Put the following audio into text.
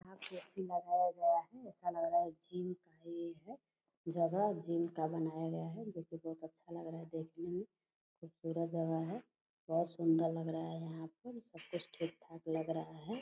यहाँ पे ए.सी. लगाया गया है ऐसा लग रहा है जिम का ये है जगह जिम का बनाया गया है जो कि बहुत अच्छा लग रहा है देखने में पूरा जगह है बहोत सुंदर लग रहा है यहाँ पर सब कुछ ठीक-ठाक लग रहा है ।